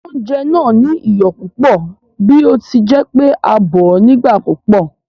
Oúnjẹ náà ní iyọ̀ púpò bí ọtíjẹpé a bòó nígbà púpò